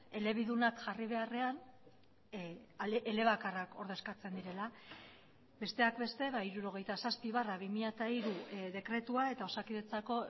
elebidunak jarri beharrean elebakarrak ordezkatzen direla besteak beste hirurogeita zazpi barra bi mila hiru dekretua eta osakidetzako